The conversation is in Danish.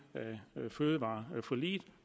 af fødevareforliget